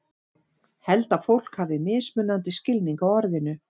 Held að fólk hafi mismunandi skilning á orðinu.